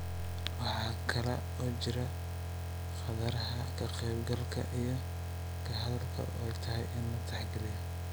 Waxa kale oo jira khataraha ka qaybgalka iyo ka hadalka oo ay tahay in la tixgeliyo.